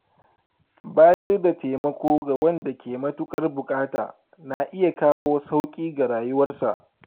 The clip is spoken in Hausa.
Bayar da taimako ga wanda ke matuƙar buƙata na iya kawo sauƙi ga rayuwarsa.